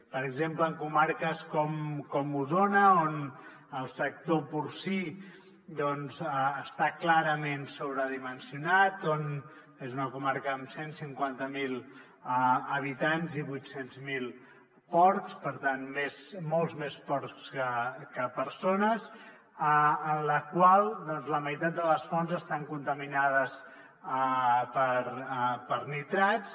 per exemple en co·marques com osona on el sector porcí doncs està clarament sobredimensionat és una comarca amb cent i cinquanta miler habitants i vuit cents miler porcs per tant molts més porcs que persones en la qual la meitat de les fonts estan contaminades per nitrats